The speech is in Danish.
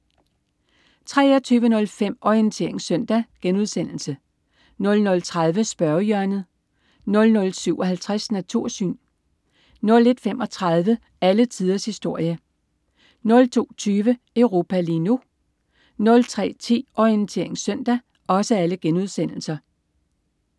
23.05 Orientering Søndag* 00.30 Spørgehjørnet* 00.57 Natursyn* 01.35 Alle tiders historie* 02.20 Europa lige nu* 03.10 Orientering Søndag*